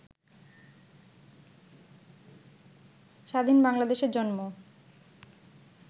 স্বাধীন বাংলাদেশের জন্ম